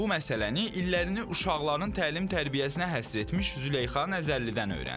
Bu məsələni illərini uşaqların təlim-tərbiyəsinə həsr etmiş Züleyxa Nəzərlidən öyrəndik.